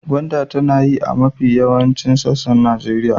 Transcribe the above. Gwanda tana yi a mafi yawaicin sassan Najeriya.